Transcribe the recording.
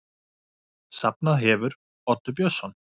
Safnað hefur Oddur Björnsson.